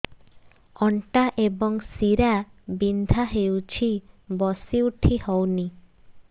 ଅଣ୍ଟା ଏବଂ ଶୀରା ବିନ୍ଧା ହେଉଛି ବସି ଉଠି ହଉନି